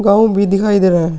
गांव भी दिखाई दे रहा है।